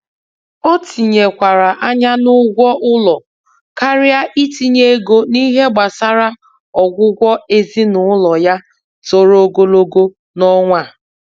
O tinyekwara anya n'ụgwọ ụlọ karịa itinye ego n'ihe gbasara ọgwụgwọ ezinụlọ ya toro ogologo n'ọnwa a.